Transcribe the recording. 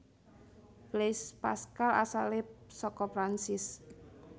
Blaise Pascal asalé saka Prancis